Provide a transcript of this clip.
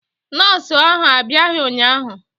nọọsụ ahụ abiaghi ụnyahụ